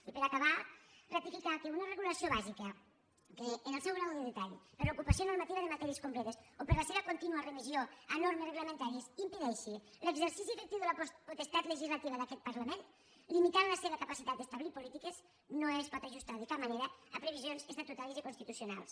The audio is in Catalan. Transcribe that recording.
i per acabar ratificar que una regulació bàsica que en el seu grau de detall per ocupació normativa de matèries completes o per la seva contínua remissió a normes reglamentàries impedeixi l’exercici efectiu de la potestat legislativa d’aquest parlament i limiti la seva capacitat d’establir polítiques no es pot ajustar de cap manera a previsions estatutàries i constitucionals